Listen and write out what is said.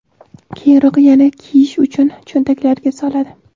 keyinroq yana kiyish uchun cho‘ntaklariga soladi.